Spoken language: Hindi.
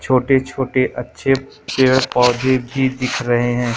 छोटे छोटे अच्छे पेड़ पौधे भी दिख रहे हैं।